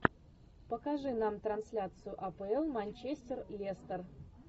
покажи нам трансляцию апл манчестер лестер